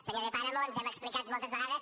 senyor de páramo ens hem explicat moltes vegades